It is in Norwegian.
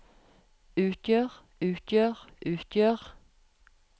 utgjør utgjør utgjør